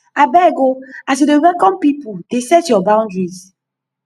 abeg o as you dey welcome pipu dey set your boundaries